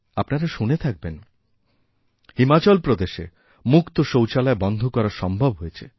আপনারা শুনে থাকবেন হিমাচল প্রদেশে মুক্ত শৌচালয় বন্ধকরা সম্ভব হয়েছে